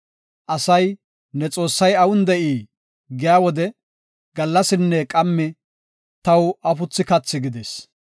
Asay, “Ne Xoossay awun de7ii?” giya wode, gallasinne qammi taw afuthi kathi gidis.